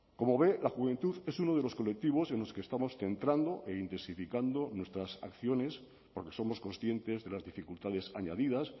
como ve la juventud es uno de los colectivos en los que estamos centrando e intensificando nuestras acciones porque somos conscientes de las dificultades añadidas